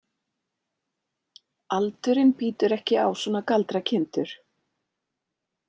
Aldurinn bítur ekki á svona galdrakindur.